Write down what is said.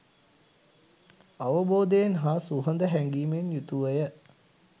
අවබෝධයෙන් හා සුහද හැඟීමෙන් යුතුව ය.